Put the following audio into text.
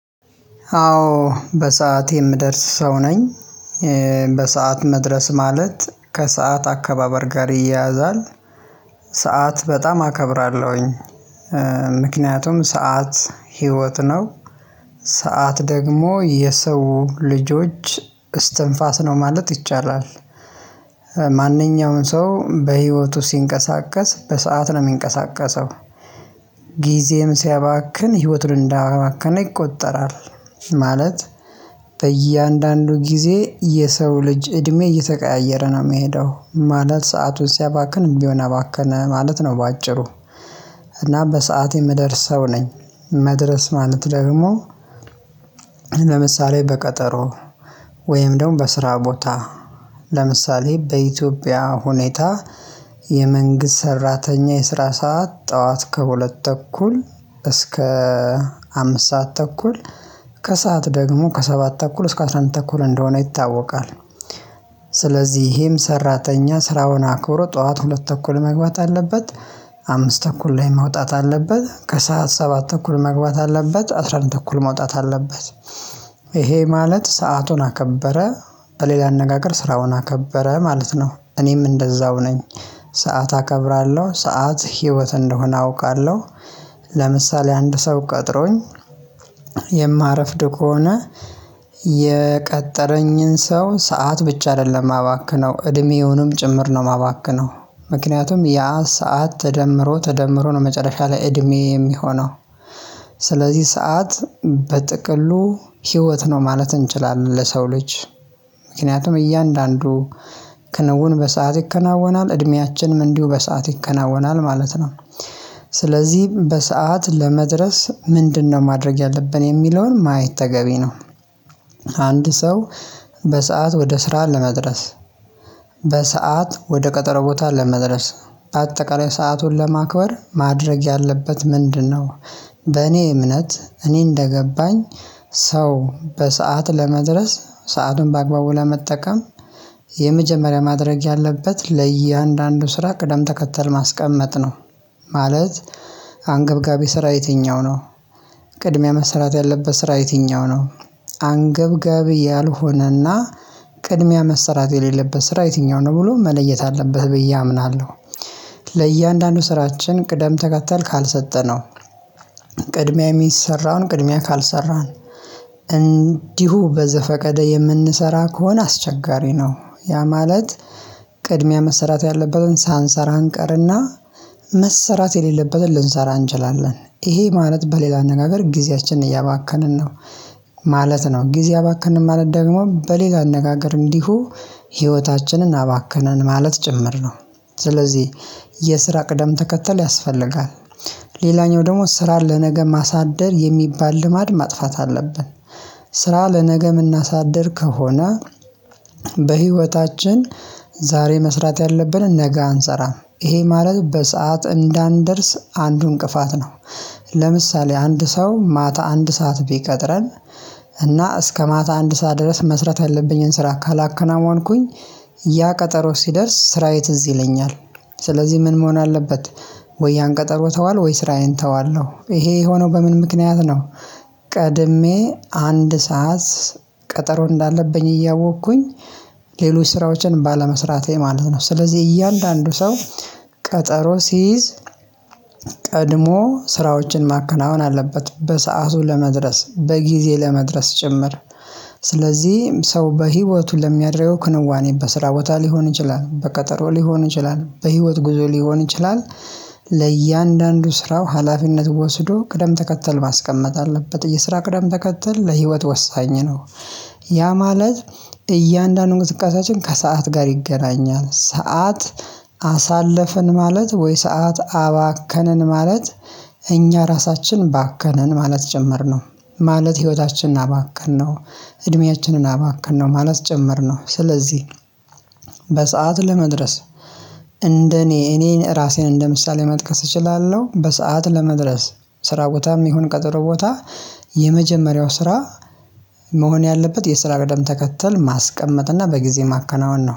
አዎ በሰአቴ የምደርስ ሰው ነኝ። በሰአት መድረስ ማለት ከሰአት አከባበር ጋር ይያያዛል ሰዓት በጣም አከብራለሁኝ። ምክንያቱም ሰዓት ህይወት ነው። ሰዓት ደግሞ የሰው ልጆች እስትንፋስ ነው ማለት ይቻላል። ማንኛውንም ሰው በህይወቱ ሲንቀሳቀስ በሰአት ነው የሚንቀሳቀሰው። ጊዜዬም ሲያባክን ህይወቱን እንዳባከነ ይቆጠራል። ማለት በእያንዳንዱ ጊዜ የሰው ልጅ እድሜ እየተቀያየረ ነው የሚሄደው ማለት ሰአቱን ሲያባክን እድሜዉን አባከነ ማለት ነው። በአጭሩ እና በሰአቴ የምደርስ ሰው ነኝ። መድረስ ማለት ደግሞ ለምሳሌ በቀጠሮ ወይም ደግሞ በስራ ቦታ ለምሳሌ በኢትዮጵያ ሁኔታ የመንግስት ሰራተኛ የስራ ሰዓት ጠዋት ከሁለት ተኩል እስከ አምስት ሰዓት ተኩል ከሰአት ደግሞ ከሰባት ተኩል እስከ አስራ አንድ ተኩል እንደሆነ ይታወቃል። ስለዚህ ይሄም ሰራተኛ ስራውን አክብሮ ጠዋት ሁለት ተኩል መግባት አለበት አምስት ተኩል ላይ መውጣት አለበት ከሰአት ሰባት ተኩል መግባት አለበት አስራ አንድ ተኩል መውጣት አለበት። ይሄ ማለት ሰአቱን አከበረ በሌላ አነጋገር ስራውን አከበረ ማለት ነው። እኔም እንደዛው ነኝ ሰዓት አከብራለሁ ሰዓት ህይወት እንደሆነ አውቃለሁ። ለምሳሌ አንድ ሰው ቀጥሮኝ የማረፍድ ከሆነ የቀጠረኝን ሰው ሰዓት ብቻ አይደለም የማባክነው እድሜውንም ጭምር ነው የማባክነው። ምክንያቱም ያ ሰዓት ተደምሮ ተደምሮ ነው መጨረሻ ላይ እድሜ የሚሆነው። ስለዚህ ሰዓት በጥቅሉ ህይወት ነው ማለት እንችላለን ለሰው ልጅ ምክንያቱም እያንዳንዱ ክንውን በሰአት ይከናወናል እድሜያችንም እንዲሁ በሰአት ይከናወናል ማለት ነው። ስለዚህ በሰአት ለመድረስ ምንድነው ማድረግ ያለብን የሚለውን ማየት ተገቢ ነው። አንድ ሰው በሰአት ወደ ስራ ለመድረስ በሰአት ወደ ቀጠሮ ቦታ ለመድረስ በአጠቃላይ ሰአቱን ለማክበር ማድረግ ያለበት ምንድነው? በእኔ እምነት እኔ እንደገባኝ ሰው በሰአት ለመድረስ ሰአቱን በአግባቡ ለመጠቀም የመጀመሪያ ማድረግ ያለበት ለእያንዳንዱ ስራ ቅደም ተከተል ማስቀመጥ ነው። ማለት አንገብጋቢ ስራ የትኛው ነው? ቅድሚያ መሰራት ያለበት ስራ የትኛው ነው? አንገብጋቢ ያልሆነና ቅድሚያ መሰራት የሌለበት ስራ የትኛው ነው ብሎ መለየት አለበት ብዬ አምናለሁ። ለእያንዳንዱ ስራችን ቅደም ተከተል ካልሰጠነው ቅድሚያ የሚሰራውን ቅድሚያ ካልሰራን እንዲሁ በዘፈቀደ የምንሰራ ከሆነ አስቸጋሪ ነው። ያ ማለት ቅድሚያ መሰራት ያለበትን ሳንሰራ እንቀርና መሰራት የሌለበትን ልንሰራ እንችላለን ይሄ ማለት በሌላ አነጋገር ጊዜያችንን እያባከንን ነው። ማለት ነው ጊዜ አባከንን ማለት ደግሞ በሌላ አነጋገር እንዲሁ ህይወታችንን አባከንን ማለት ጭምር ነው። ስለዚህ የስራ ቅደም ተከተል ያስፈልጋል። ሌላኛው ደግሞ ስራ ለነገ ማሳደር የሚባል ልማድ ማጥፋት አለብን። ስራ ለነገ የምናሳድር ከሆነ በህይወታችን ዛሬ መስራት ያለብን ነገ አንሰራም ይሄ ማለት በሰአት እንዳንደርስ አንዱ እንቅፋት ነው። ለምሳሌ አንድ ሰው ማታ አንድ ሰዓት ቢቀጥረን እና እስከ ማታ አንድ ሰዓት ድረስ መስራት የለብኝን ስራ ካላከናወንኩኝ ያ ቀጠሮ ሲደርስ ስራዬ ትዝ ይለኛል። ስለዚህ ምን መሆን አለበት? ወይ ያን ቀጠሮ ተዋለሁ ወይ ስራዬን ተዋለሁ ይሄ የሆነው በምን ምክንያት ነው? ቀድሜ አንድ ሰዓት ቀጠሮ እንዳለብኝ እያወቅኩኝ ሌሎች ስራዎችን ባለመስራቴ ማለት ነው። ስለዚህ እያንዳንዱ ሰው ቀጠሮ ሲይዝ ቀድሞ ስራዎችን ማከናወን አለበት በሰአቱ ለመድረስ በጊዜ ለመድረስ ጭምር ስለዚህ ሰው በህይወቱ ለሚያደረገው ክንዋኔ በስራ ቦታ ሊሆን ይችላል በቀጠሮ ሊሆን ይችላል በህይወት ጉዞ ሊሆን ይችላል። ለእያንዳንዱ ስራው ሀላፊነት ወስዶ ቅደም ተከተል ማስቀመጥ አለበት የስራ ቅደም ተከተል ለህይወት ወሳኝ ነው። ያ ማለት እያንዳንዱ እንቅስቃሴያችን ከሰአት ጋር ይገናኛል ሰዓት አሳለፍን ማለት ወይ ሰዓት አባከንን ማለት እኛ ራሳችን ባከንን ማለት ጭምር ነው። ማለት ህይወታችንን አባከነው እድሜያችንን አባከነው ማለት ጭምር ነው። ስለዚህ በሰአት ለመድረስ እንደኔ እኔን ራሴን እንደምሳሌ መጥቀስ እችላለሁ በሰአት ለመድረስ ስራ ቦታም ይሁን ቀጥሮ ቦታ የመጀመሪያው ስራ መሆን ያለበት የስራ ቀደም ተከተል ማስቀመጥ እና በጊዜ ማከናወን ነው